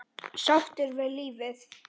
Sáttur við lífið.